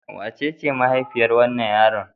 Wacece mahaifiyar wannan yaron?